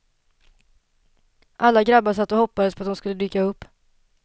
Alla grabbar satt och hoppades på att hon skulle dyka upp.